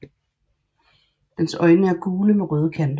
Dens øjne er gule med røde kanter